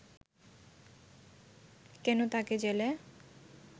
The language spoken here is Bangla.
কেন তাকে জেলে